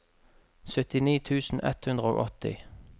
syttini tusen ett hundre og åtti